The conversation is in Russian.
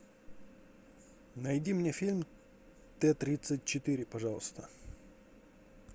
найди мне фильм т тридцать четыре пожалуйста